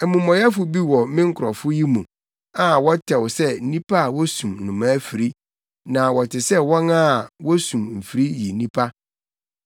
“Amumɔyɛfo bi wɔ me nkurɔfo yi mu a wɔtɛw sɛ nnipa a wosum nnomaa afiri, na wɔte sɛ wɔn a wosum mfiri yi nnipa.